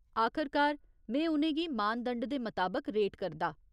आखरकार, में उ'नें गी मानदंड दे मताबक रेट करदा।